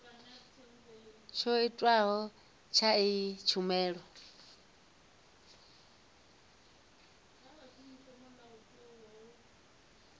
tsho tiwaho tsha iyi tshumelo